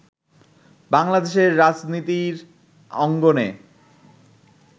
বাংলাদেশের রাজনীতির অঙ্গনে